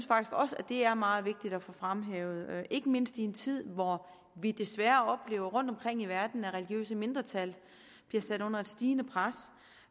faktisk også er meget vigtigt at få fremhævet ikke mindst i en tid hvor vi desværre oplever rundtomkring i verden at religiøse mindretal bliver sat under et stigende pres